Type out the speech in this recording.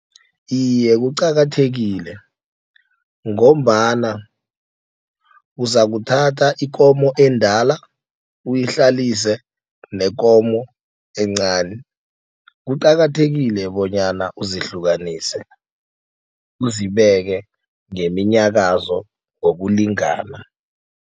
Iye, kuqakathekile ngombana uzakuthatha ikomo endala uyihlalise nekomo encani. Kuqakathekile bonyana uzihlukanise, uzibeke ngeminyakazo ngokulingana.